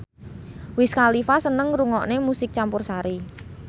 Wiz Khalifa seneng ngrungokne musik campursari